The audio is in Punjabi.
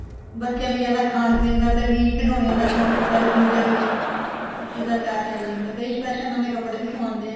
ਬੱਚਿਆਂ ਨੂੰ ਜਿਆਦਾ ਖਾਣ ਪੀਣ ਦਾ ਤੇ ਖਿਡੋਣਿਆਂ ਦਾ ਸੋਂਕ ਹੁੰਦਾ ਵੀ ਮਿਲ ਜਾਣਗੇ ਇਸ ਚੀਜ਼ ਦਾ ਚਾ ਚੜ ਜਾਂਦਾ ਕਈ special ਨਵੇ ਕਪੜੇ ਵੀ ਸਵਾਂਦੇ ਏ